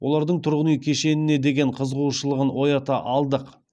олардың тұрғын үй кешеніне деген қызығушылығын оята алдық